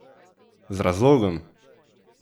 Z razlogom!